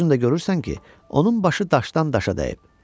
Özün də görürsən ki, onun başı daşdan daşa dəyib.